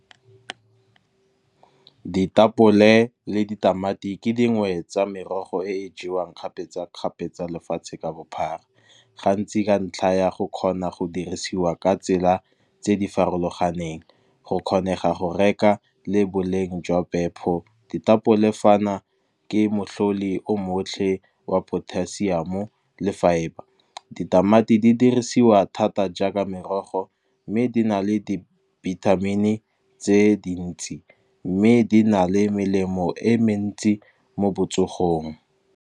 Ditapole le ditamati ke dingwe tsa merogo e e jewang kgapetsakgapetsa lefatshe ka bophara. Gantsi ka ntlha ya go kgona go dirisiwa ka tsela tse di farologaneng, go kgonega go reka le boleng jwa phepho. Ditapole fana ke matlhodi o motlhe wa potassium le fibre, ditamati di dirisiwa thata jaaka merogo mme di na le di-vitamin tse dintsi. Mme di na le melemo e mentsi mo botsogong.